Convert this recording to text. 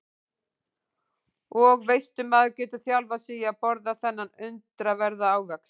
Og veistu maður getur þjálfað sig í að borða þennan undraverða ávöxt.